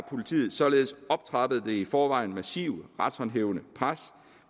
politiet således optrappet det i forvejen massive retshåndhævende pres